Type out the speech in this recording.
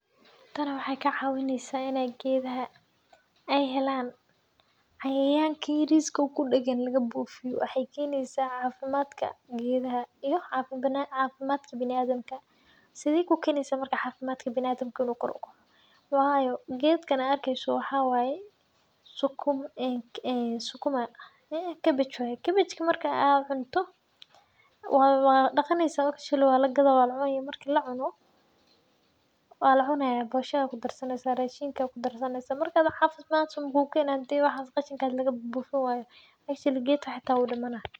Taan waxay kacawineysa ina gedaxa ay xelan, cayayanka yariska o kudagaan lagabufiyo, waxay keneysacafimadka gedaxa, iyo cafimadka biniadamka, sidhey kukeneysa marka cafimadka biniadamka inu kor ukoco , wayo geedkan aad arkeyso waxa waye ee sukuma eex cabbage waye cabbage marka aa cunto, wa wadaqaneysa , walagadaa , walacuna, marki lacuno, walacunaya bosha aya kudareysa, rashinka kudarsaneysa, marka wax cafimad dara so makukenay xadhii labufinwayo actually gedka xata wu dimana.